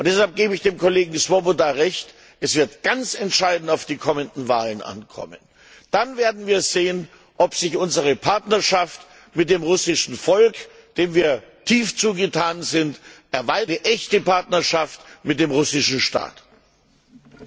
Deshalb gebe ich dem Kollegen Swoboda Recht, es wird ganz entscheidend auf die kommenden Wahlen ankommen. Dann werden wir sehen, ob sich unsere Partnerschaft mit dem russischen Volk, dem wir tief zugetan sind, zu einer echten Partnerschaft mit dem russischen Staat erweitern lässt.